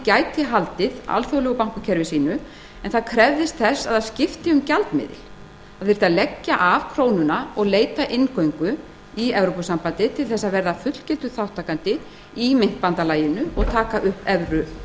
gæti haldið alþjóðlegu bankakerfi sínu en það krefðist þess að það skipti um gjaldmiðil það þyrfti að leggja af krónuna og leita inngöngu í evrópusambandið til að verða fullgildur þátttakandi í myntbandalaginu og taka upp evru